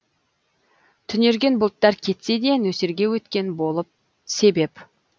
түнерген бұлттар кетсе де нөсерге өткен болып себеп